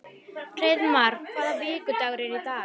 Hreiðmar, hvaða vikudagur er í dag?